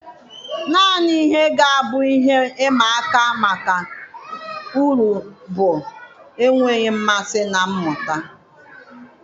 Naanị ihe ga-abụ ihe ịma aka maka uri bụ enweghị mmasị na mmụta.